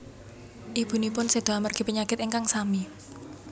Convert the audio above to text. Ibunipun seda amargi penyakit ingkang sami